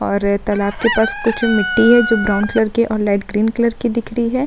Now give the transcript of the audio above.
और तालाब के पास कुछ मिट्टी है जो ब्राउन कलर की है और लाइट ग्रीन कलर की दिख रही है।